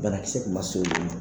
Banakisɛ kun ma se olu ma